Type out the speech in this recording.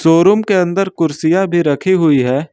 Showroom के अंदर कुर्सियां भी रखी हुई है।